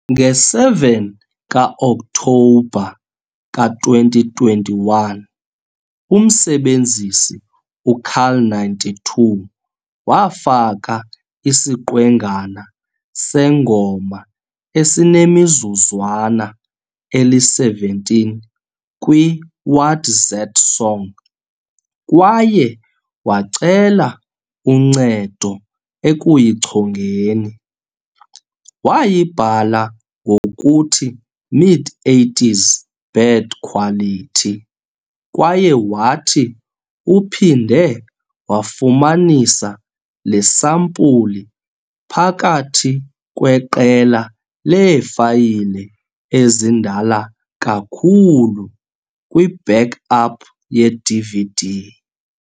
Nge-7 ka-Okthobha ka-2021, umsebenzisi u-carl92 wafaka isiqwengana sengoma esinemizuzwana eli-17 kwi-WatZatSong kwaye wacela uncedo ekuyichongeni. Wayibhala ngokuthi "Mid 80s, bad quality" kwaye wathi "uphinde wafumanisa le sampuli phakathi kweqela leefayile ezindala kakhulu kwi-backup yeDVD.